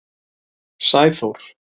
Sæþór